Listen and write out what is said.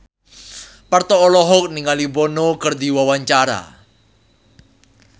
Parto olohok ningali Bono keur diwawancara